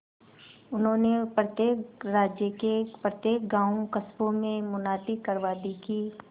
उन्होंने प्रत्येक राज्य के प्रत्येक गांवकस्बों में मुनादी करवा दी कि